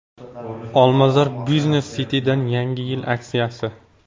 Olmazor Business City’dan yangi yil aksiyasi.